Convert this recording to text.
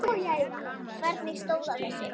Hvernig stóð á þessu?